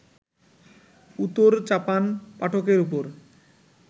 উতোর-চাপান পাঠকের ওপর